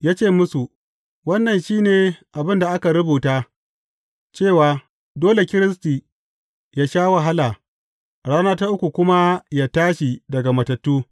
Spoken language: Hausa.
Ya ce musu, Wannan shi ne abin da aka rubuta, cewa dole Kiristi yă sha wahala, a rana ta uku kuma yă tashi daga matattu.